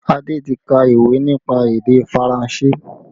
Adé ti ka ìwé nípa èdè Faranse